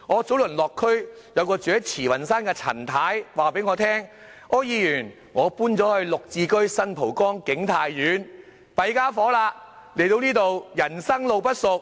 早前我落區時，便有一名居住在慈雲山的陳太告訴我，她說："柯議員，我搬到'綠置居'新蒲崗景泰苑，但人生路不熟，